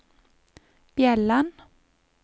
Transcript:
Bjelland